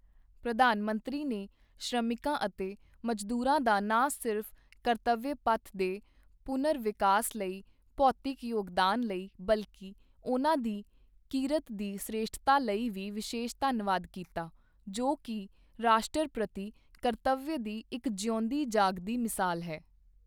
ਪ੍ਰਧਾਨ ਮੰਤਰੀ ਨੇ ਸ਼੍ਰਮਿਕਾਂ ਅਤੇ ਮਜ਼ਦੂਰਾਂ ਦਾ ਨਾ ਸਿਰਫ਼ ਕਰਤਵਯ ਪਥ ਦੇ ਪੁਨਰ ਵਿਕਾਸ ਲਈ ਭੌਤਿਕ ਯੋਗਦਾਨ ਲਈ, ਬਲਕਿ ਉਨ੍ਹਾਂ ਦੀ ਕਿਰਤ ਦੀ ਸ੍ਰੇਸ਼ਠਤਾ ਲਈ ਵੀ ਵਿਸ਼ੇਸ਼ ਧੰਨਵਾਦ ਕੀਤਾ, ਜੋ ਕਿ ਰਾਸ਼ਟਰ ਪ੍ਰਤੀ ਕਰਤਵਯ ਦੀ ਇੱਕ ਜਿਉਂਦੀ ਜਾਗਦੀ ਮਿਸਾਲ ਹੈ।